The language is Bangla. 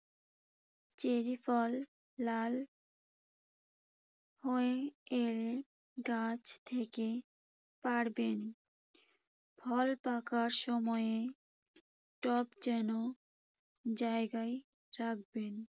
চেরি ফল লাল হয়ে এলে গাছ থেকে পারবেন। ফল পাকার সময়ে টব যেন জায়গায় রাখবেন।